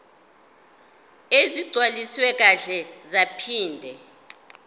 ezigcwaliswe kahle zaphinde